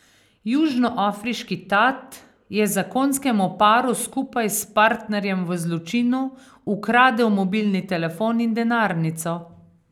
Južnoafriški tat je zakonskemu paru skupaj s partnerjem v zločinu ukradel mobilni telefon in denarnico.